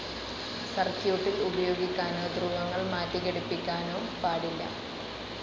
സർക്യൂട്ടിൽ ഉപയോഗിക്കാനോ ധ്രുവങ്ങൾ മാറ്റി ഘടിപ്പിക്കാനോ പാടില്ല.